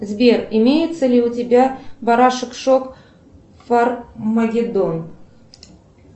сбер имеется ли у тебя барашек шок фармагедон